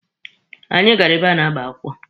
Anyị gara ebe a na-agba akwụkwọ.